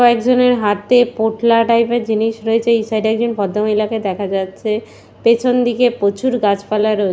কয়েকজনের হাতে পোটলা টাইপ এর জিনিস রয়েছে এই সাইড এ একজন ভদ্রমহিলাকে দেখা যাচ্ছে পেছনদিকে প্রচুর গাছপালা রয়ে--